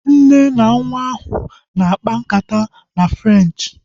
Nne na nwa ahu nọ na-akpa nkata na Frenchi